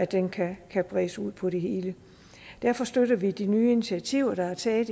den kan kan bredes ud på det hele derfor støtter vi de nye initiativer der er taget